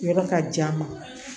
Yɔrɔ ka jan n ma